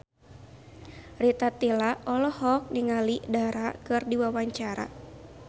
Rita Tila olohok ningali Dara keur diwawancara